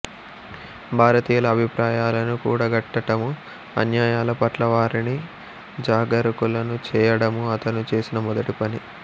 భారతీయుల అభిప్రాయాలను కూడగట్టటమూ అన్యాయాల పట్ల వారిని జాగరూకులను చేయడమూ అతను చేసిన మొదటి పని